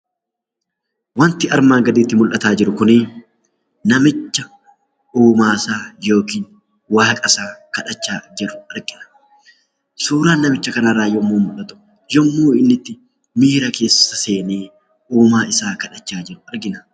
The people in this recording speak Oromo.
Wanti armaan gaditti mullataa jiru kunii namicha uumaasaa yookin waaqasaa kadhachaa jiru argina. Suuraa namicha kanarraa yommuu mul'atu yommuu innitti miira keessa seenee uumaa isaa kadhachaa jiru argina.